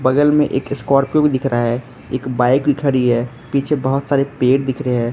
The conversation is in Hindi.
बगल में एक स्कॉर्पियो दिख रहा है एक बाइक खड़ी है पीछे बहोत सारे पेड़ दिख रहे हैं।